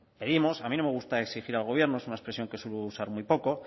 pedimos a mí no me gusta exigir al gobierno es una expresión que suelo usar muy poco